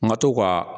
N ka to ka